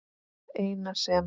Það eina sem